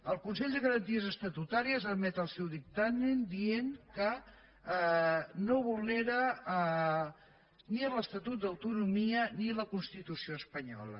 el consell de garanties estatutàries emet el seu dictamen dient que no vulnera ni l’estatut d’autonomia ni la constitució espanyola